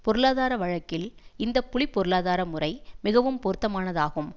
பொருளாதார வழக்கில் இந்த புலி பொருளாதார முறை மிகவும் பொருத்தமானதாகும்